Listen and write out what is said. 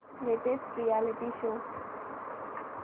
latest reality show